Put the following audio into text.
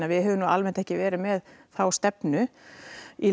við höfum almennt ekki verið með þá stefnu í